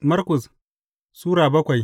Markus Sura bakwai